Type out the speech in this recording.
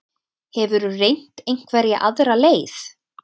Hefurðu reynt einhverja aðra leið?